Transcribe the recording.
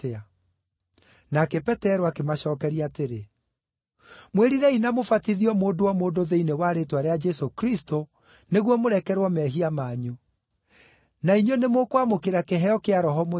Nake Petero akĩmacookeria atĩrĩ, “Mwĩrirei na mũbatithio mũndũ o mũndũ thĩinĩ wa rĩĩtwa rĩa Jesũ Kristũ, nĩguo mũrekerwo mehia manyu. Na inyuĩ nĩ mũkwamũkĩra kĩheo kĩa Roho Mũtheru.